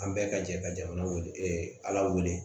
An bɛɛ ka jɛ ka jamana wele ala weele